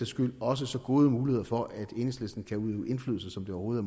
skyld også så gode muligheder for at enhedslisten kan udøve indflydelse som det overhovedet